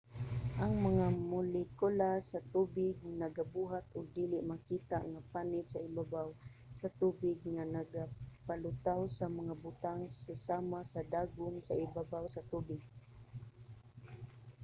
ang mga molekula sa tubig nagabuhat og dili makita nga panit sa ibabaw sa tubig nga nagapalutaw sa mga butang susama sa dagom sa ibabaw sa tubig